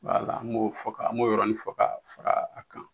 wala an b'o fɔ ka an b'o yɔrɔnin fɔ ka fara a kan